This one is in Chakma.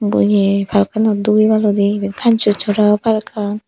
eko eay parkanot dugibaloidy ebane kansonsora parkkan.